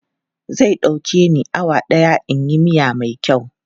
Zai ɗauke ni awa ɗaya in yi miya mai kyau.